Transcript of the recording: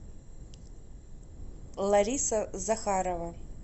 лариса захарова